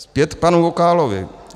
Zpět k panu Vokálovi.